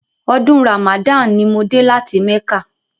Ọdún Ramadan ni mo dé láti mẹ́kà..